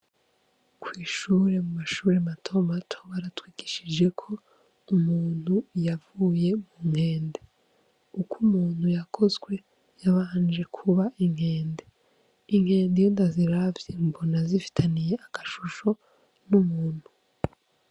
Kw'ishure mu mashuri matomato baratwigishije ko umuntu yavuye mu nkende uko umuntu yakozwe yabanje kuba inkende inkende iyondaziravye mbona zifitaniye agashusho n'umuntu.